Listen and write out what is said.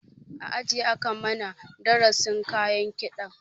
A aji aka mana darasin kayan kiɗan